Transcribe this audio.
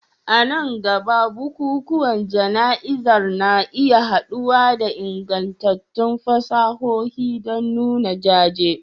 A nan gaba, bukukuwan jana'izar na iya haɗawa da ingantattun fasahohi don nuna jaje